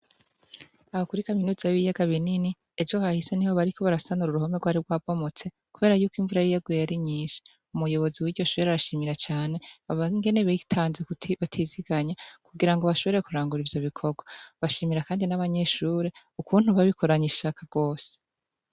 Aha kuri Kaminuza yibiyaga binini ejo hahise niho bariko barasanura uruhome rwari rwabomotse, kuberayuko imvura yari yagiye ari nyishi .Umuyobozi arashima. ingene bitanze batiziganya, kugira bashobore kurangura ivyo bikorwa, bashimira kandi n' abanyeshure ukuntu babikoranye ishaka gose.